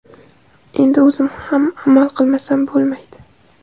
Endi o‘zim ham amal qilmasam bo‘lmaydi.